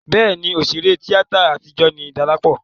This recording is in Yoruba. Bẹ́ẹ̀ni, òṣèré tíátà àtijọ́ ni Dọlápọ̀